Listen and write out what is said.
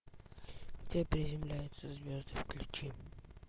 где приземляются звезды включи